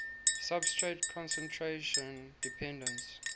substrate concentration dependence